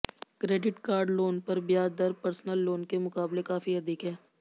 credit card loan पर ब्याज दर पर्सनल लोन के मुकाबले काफी अधिक है